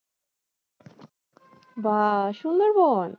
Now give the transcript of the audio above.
বাহ্ সুন্দরবন?